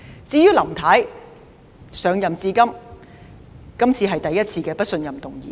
至於林太，這是她上任至今第一次面對不信任議案。